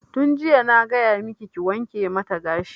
Tun jiya na gaya maki ki wanke mata gashi!